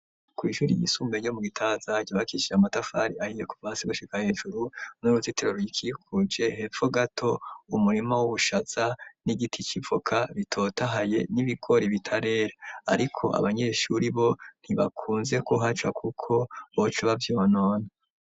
Kw'ishuri yisumberyo mu gitazaryabakishije amatafari ahiye kuvasi gushika hejuru n'uruzitero rikikuje hepfo gato umurima w'ubushaza n'igiti civoka bitotahaye n'ibikori bitarera, ariko abanyeshuri bo ntibakunze kuhaca, kuko boco bavyonona.